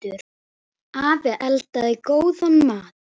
Afi eldaði góðan mat.